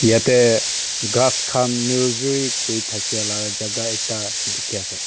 yate ghas khan nursery kuri thakia laga jaga ekta dikhi ase.